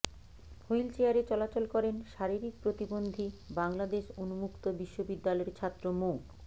হুইলচেয়ারে চলাচল করেন শারীরিক প্রতিবন্ধী বাংলাদেশ উম্মুক্ত বিশ্ববিদ্যালয়ের ছাত্র মো